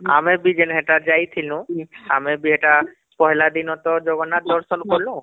ହଁ ଆମେ ଯେ ହେଟାର ଯାଇ ଥିନୁ ଆମେ ବି ହେଟା ପହିଲା ଦିନ ତ ଜଗନ୍ନାଥ ଦର୍ଶନ କଲୁ